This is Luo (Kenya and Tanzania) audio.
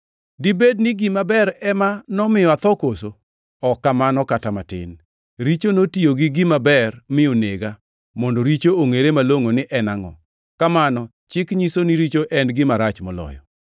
Dibed ni gima ber ema nomiyo atho koso? Ok kamano kata matin! Richo notiyo gi gima ber, mi onega, mondo richo ongʼere malongʼo ni en angʼo. Kamano chik nyiso ni richo en gima rach moloyo.